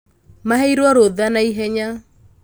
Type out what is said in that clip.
maheirwo rũtha naihenya